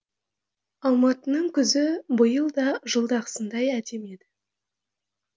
алматының күзі биыл да жылдағысындай әдемі еді